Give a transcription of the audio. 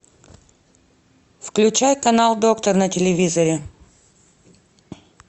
включай канал доктор на телевизоре